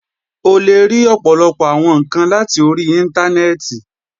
O le ri ọpọlọpọ awọn nkan lati ori Intanẹẹti